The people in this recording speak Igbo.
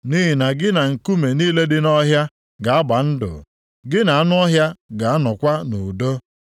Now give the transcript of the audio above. Nʼihi na gị na nkume niile dị nʼọhịa ga-agba ndụ, gị na anụ ọhịa ga-anọkwa nʼudo.